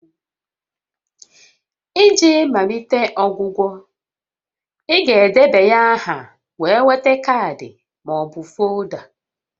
Iji malite ọgwụgwọ, ị ga-edebanye aha wee nweta kaadị ma ọ bụ folda